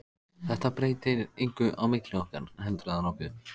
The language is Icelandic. Þetta breytir engu á milli okkar, heldurðu það nokkuð?